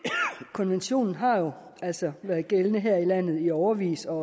konventionen har jo altså været gældende her i landet i årevis og